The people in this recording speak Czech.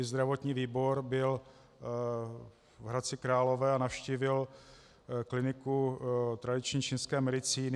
I zdravotní výbor byl v Hradci Králové a navštívil kliniku tradiční čínské medicíny.